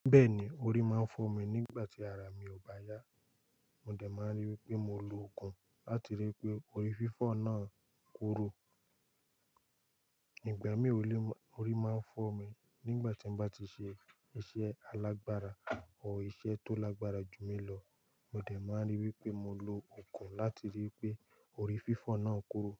Bẹ́ẹ̀ni, orí máa ń fọ́ mi nígbàtí ara mi ò bá yá, mo dẹ̀ máa rí wípé mo lo òògùn láti rí i pé orí fífọ́ náà kúrò. Ìgbà mìíràn orí máa ń fọ́ mi nígbà tí n bá ti ṣe iṣẹ́ alágbára or iṣẹ́ tó lágbára jù mí lọ, mo dẹ̀ máa rí wí pé mo lo òògùn láti rí i pé orí fífọ́ náà kúrò.